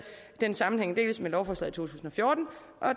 den sammenhæng dels med lovforslaget tusind og fjorten